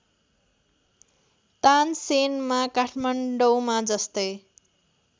तानसेनमा काठमाडौँमा जस्तै